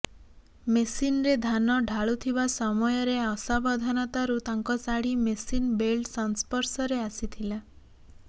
ମେସିନରେ ଧାନ ଢାଳୁଥିବା ସମୟରେ ଅସାବଧାନତାରୁ ତାଙ୍କ ଶାଢୀ ମେସିନ୍ ବେଲ୍ଟ ସଂସ୍ପର୍ଶରେ ଆସିଥିଲା